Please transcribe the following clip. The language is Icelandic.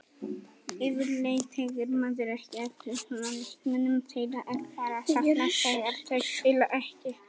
Yfirleitt tekur maður ekki eftir svona leikmönnum, þeirra er bara saknað þegar þeir spila ekki.